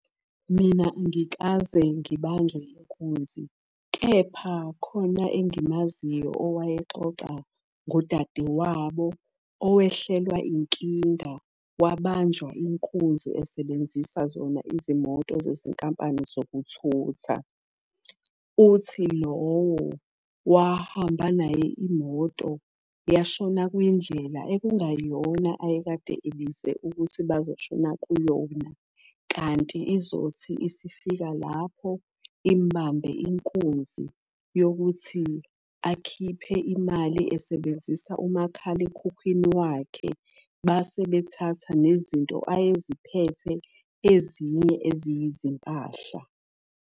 Mina angikaze ngibanjwe inkunzi, kepha khona engimaziyo owayexoxa ngodade wabo owehlelwa inkinga, wabanjwa inkunzi esebenzisa zona izimoto zezinkampani zokuthutha. Uthi lowo wahamba naye imoto yashona kwindlela ekungayona ayekade ebize ukuthi bazoshona kuyona. Kanti izothi isifika lapho imubambe inkunzi yokuthi akhiphe imali esebenzisa umakhalekhukhwini wakhe. Base bethatha nezinto ayeziphethe ezinye eziyizimpahla.